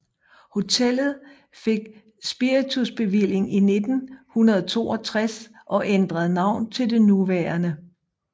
Hotellet fik spiritusbevilling i 1962 og ændrede navn til det nuværende